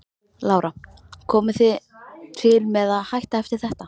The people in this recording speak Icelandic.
Lára: Komið þið til með að hætta eftir þetta?